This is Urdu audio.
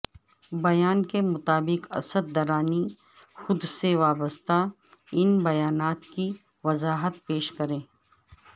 بیان کے مطابق اسد درانی خود سے وابستہ ان بیانات کی وضاحت پیش کریں